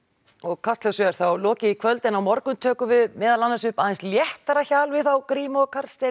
kastljósi er þá lokið í kvöld en á morgun tökum við meðal annars upp aðeins léttara hjal við þá Grím og Karl Steinar